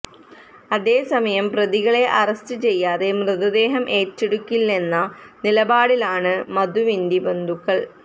അതേസമയം പ്രതികളെ അറസ്റ്റ് ചെയ്യാതെ മൃതദേഹം ഏറ്റെടുക്കില്ലെന്ന നിലപാടിലാണ് മധുവിന്റെ ബന്ധുക്കള്